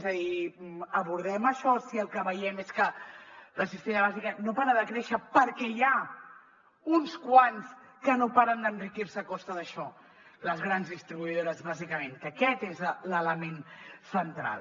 és a dir abordem això si el que veiem és que la cistella bàsica no para de créixer perquè n’hi ha uns quants que no paren d’enriquir se a costa d’això les grans distribuïdores bàsicament que aquest és l’element central